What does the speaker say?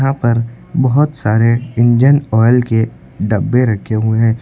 यहां पर बहुत सारे इंजन ऑयल के डब्बे रखे हुए हैं।